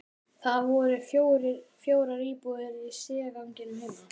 Það voru fjórar íbúðir í stigaganginum heima.